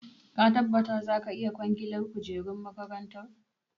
Ka tabbata za ka iya kwangilar kujerun makarantar?